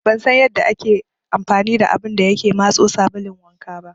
Ban san yanda ake amfani da abun da yake matso sabulun wanka ba.